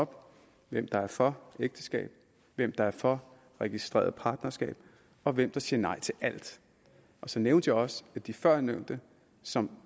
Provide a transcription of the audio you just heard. op hvem der er for ægteskab hvem der er for registreret partnerskab og hvem der siger nej til alt så nævnte jeg også at de førnævnte som